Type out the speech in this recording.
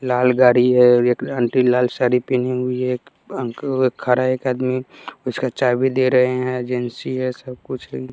लाल गाड़ी हैं और एक आंटी लाल साड़ी पहनी हुई हैं एक अंक खड़ा है एक आदमी उसका चाभी दे रहे है एजेंसी हैं सब कुछ--